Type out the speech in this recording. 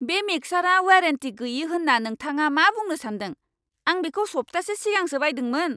बे मिक्सारा वारेन्टि गैयै होन्ना नोंथाङा मा बुंनो सान्दों? आं बेखौ सप्तासे सिगांसो बायदोंमोन!